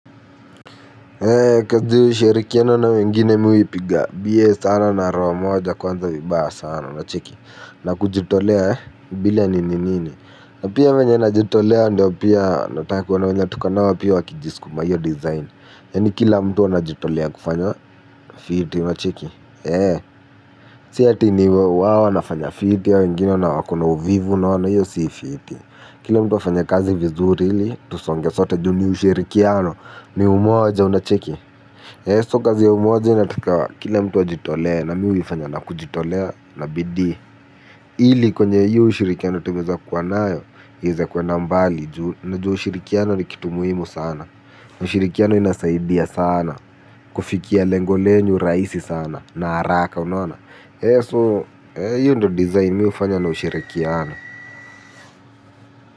Eee kazi ya ushirikiano na wengine mi huipiga bie sana na roho moja kwanza vibaya sana unacheki. Na kujitolea ee bila nini nini na pia vyenye najitolea ndio pia nataka wana mwenye tukonao pia wakijiskuma hiyo design. Yani kila mtu anajitolea kufanya fiti unacheki. Eee si ati ni wao wanafanya fiti hao wengine wako na uvivu unaona hiyo si fiti. Kila mtu afanye kazi vizuri ili tusonge sote juu ni ushirikiano ni umoja unacheki eeh so kazi ya umoja inataka kila mtu wa jitolee na mi huifanya na kujitolea na bidii ili kwenye hiyo ushirikiano tumeweza kua nayo iweze kwenda mbali juu unajua ushirikiano ni kitu muhimu sana ushirikiano inasaidia sana kufikia lengo lenyu rahisi sana na haraka unaona eeh so eeh hiyo ndio design mi hufanya na ushirikiano.